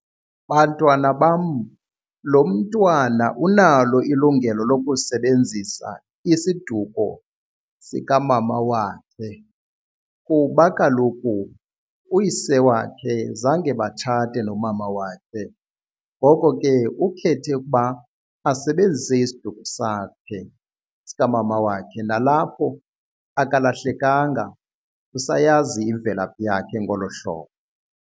Bantwana bam lo mntwana unalo ilungelo lokusebenzisa isiduko sikamama wakhe kuba kaloku uyise wakhe zange batshate nomama wakhe, ngoko ke ukhethe ukuba asebenzise isiduko sakhe sikamama wakhe. Nalapho akalahlekanga usayazi imvelaphi yakhe ngolo hlobo.